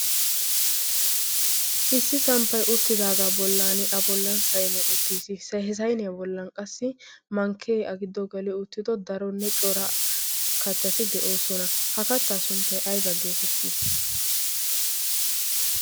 issi samppai uttidaagaa bollan a bollan sayiniya uttiis h sayiniyyaa bollan qassi mankkee a giddo gali uttido daronne cora kattati de'oosona ha kattaa sunttay ayba geetettii